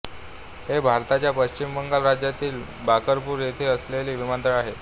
हे भारताच्या पश्चिम बंगाल राज्यातील बराकपूर येथे असलेले विमानतळ आहे